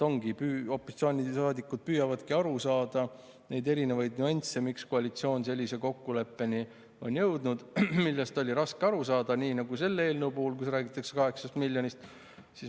Ongi nii, opositsioonisaadikud püüavadki aru saada nendest nüanssidest, miks koalitsioon on jõudnud sellise kokkuleppeni, millest oli raske aru saada, nii nagu selle eelnõu puhul, kus räägitakse 8 miljonist.